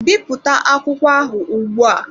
Bipụta akwụkwọ ahụ ugbu a!